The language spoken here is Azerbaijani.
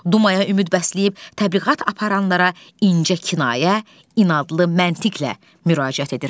Dumaya ümid bəsləyib təbliğat aparanlara incə kinayə, inadlı məntiqlə müraciət edirdi.